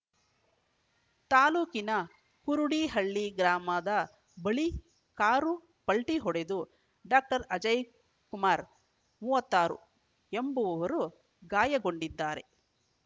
ತಾಲೂಕಿನ ಕುರುಡಿಹಳ್ಳಿ ಗ್ರಾಮದ ಬಳಿ ಕಾರು ಪಲ್ಟಿಹೊಡೆದು ಡಾಕ್ಟರ್ ಅಜಯ್‌ಕುಮಾರ್‌ ಮೂವತ್ತ್ ಆರು ಎಂಬುವವರು ಗಾಯಗೊಂಡಿದ್ದಾರೆ